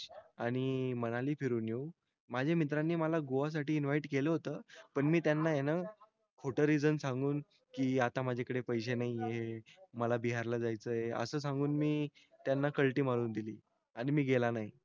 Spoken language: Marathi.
आणि मनाली फिरून येऊन माझा मित्रांनी मला गोवा साठी इन्व्हाईट केलं होत पण मी त्यांना आहे न खोटं रिजन सांगून के आता मजाकळं पैसे नाही है मला बिहार ला जायचं आहे असं सांगून मी त्यांना कल्टी मारून दिली आणि मी गेला नाही